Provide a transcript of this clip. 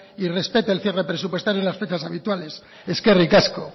y respete el cierre presupuestario y las fechas habituales eskerrik asko